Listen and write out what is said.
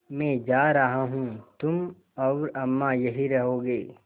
मैं जा रहा हूँ तुम और अम्मा यहीं रहोगे